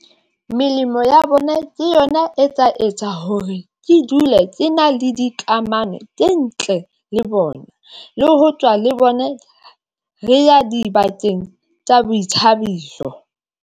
Melemo ya bona ke yona e tsa etsa hore ke dule, ke na le dikamano tse ntle le bona, le ho tswa le bone re ya dibakeng tsa boithabiso.